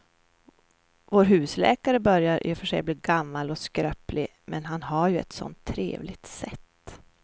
Vår husläkare börjar i och för sig bli gammal och skröplig, men han har ju ett sådant trevligt sätt!